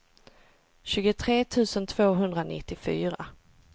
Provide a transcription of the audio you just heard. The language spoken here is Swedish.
tjugotre tusen tvåhundranittiofyra